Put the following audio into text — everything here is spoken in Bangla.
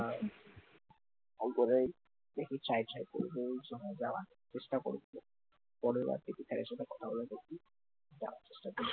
আর ফলগুলো একটু side side করে দিয়ে ওই সময় যাওয়ার চেষ্টা করবো ফলের কথা বলে দেখি, যাওয়ার চেষ্টা করবি